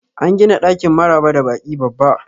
An gina ɗakin maraba da baki babba